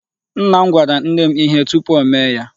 Nna m gwara nne m ihe tupu o mee ya.